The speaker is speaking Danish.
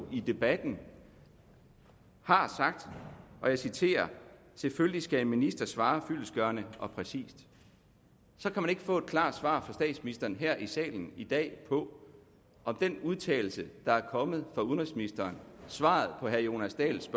i debatten har sagt og jeg citerer at selvfølgelig skal en minister svare fyldestgørende og præcist så kan man ikke få et klart svar fra statsministeren her i salen i dag på om den udtalelse der er kommet fra udenrigsministeren svaret på herre jonas dahls